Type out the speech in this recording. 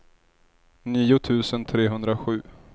nio tusen trehundrasju